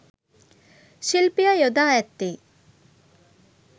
ශිල්පියා යොදා ඇත්තේ